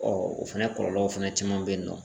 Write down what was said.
o fɛnɛ kɔlɔlɔw fɛnɛ caman bɛ yen nɔ.